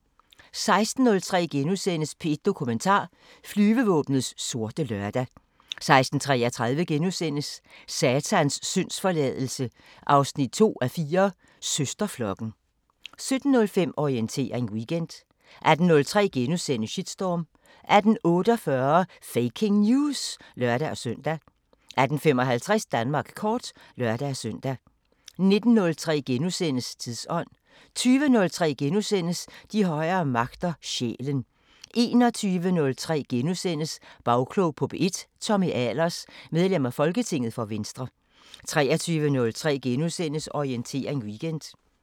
16:03: P1 Dokumentar: Flyvevåbnets sorte lørdag * 16:33: Satans syndsforladelse 2:4 – Søsterflokken * 17:05: Orientering Weekend 18:03: Shitstorm * 18:48: Faking News! (lør-søn) 18:55: Danmark kort (lør-søn) 19:03: Tidsånd * 20:03: De højere magter: Sjælen * 21:03: Bagklog på P1: Tommy Ahlers, medlem af folketinget for Venstre * 23:03: Orientering Weekend